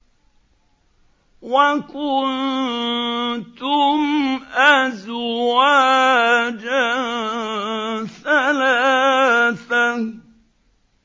وَكُنتُمْ أَزْوَاجًا ثَلَاثَةً